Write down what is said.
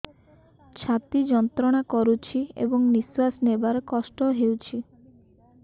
ଛାତି ଯନ୍ତ୍ରଣା କରୁଛି ଏବଂ ନିଶ୍ୱାସ ନେବାରେ କଷ୍ଟ ହେଉଛି